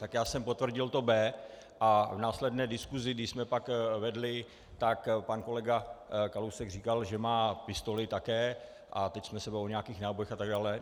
Tak já jsem potvrdil to B a v následné diskusi, když jsme pak vedli, tak pan kolega Kalousek říkal, že má pistoli také, a teď jsme se bavili o nějakých nábojích a tak dále.